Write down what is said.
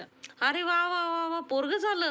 अरे वा वा वा, पोरगं झालं